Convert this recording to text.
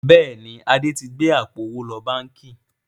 Bẹ́ẹ̀ni, Adé tí gbé àpò owó lọ báńkì